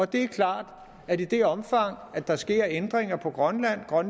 det er klart at i det omfang der sker ændringer på grønland og at